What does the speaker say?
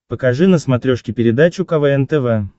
покажи на смотрешке передачу квн тв